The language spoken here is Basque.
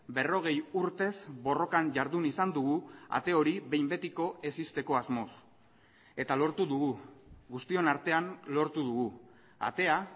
berrogei urtez borrokan jardun izan dugu ate hori behin betiko ez ixteko asmoz eta lortu dugu guztion artean lortu dugu atea